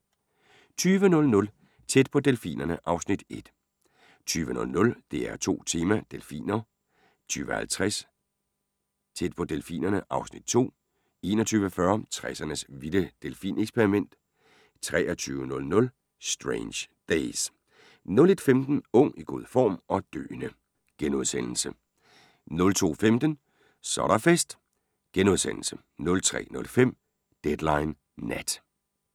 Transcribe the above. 20:00: Tæt på delfinerne (Afs. 1) 20:00: DR2 Tema: Delfiner 20:50: Tæt på delfinerne (Afs. 2) 21:40: 60'ernes vilde delfineksperiment 23:00: Strange Days 01:15: Ung, i god form – og døende! * 02:15: Så er der fest! * 03:05: Deadline Nat